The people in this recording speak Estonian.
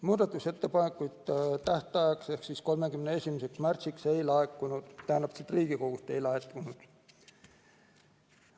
Muudatusettepanekute tähtajaks ehk 31. märtsiks ei laekunud Riigikogust ettepanekuid.